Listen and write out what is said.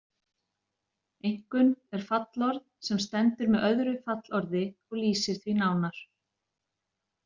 Einkunn er fallorð sem stendur með öðru fallorði og lýsir því nánar.